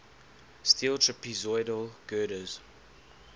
steel trapezoidal girders